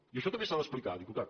i això també s’ha d’explicar diputat